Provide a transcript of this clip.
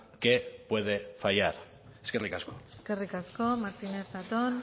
qué puede fallar eskerrik asko eskerrik asko martínez zatón